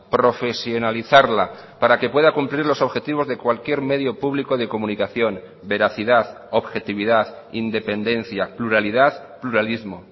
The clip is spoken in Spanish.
profesionalizarla para que pueda cumplir los objetivos de cualquier medio público de comunicación veracidad objetividad independencia pluralidad pluralismo